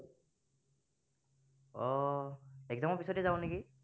আহ exam ৰ পিছতেই যাওঁ নেকি